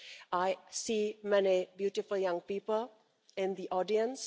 I see many beautiful young people in the audience.